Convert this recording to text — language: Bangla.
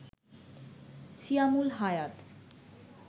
সিয়ামুল হায়াত